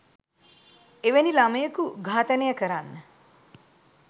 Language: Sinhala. එවැනි ළමයකු ඝාතනය කරන්න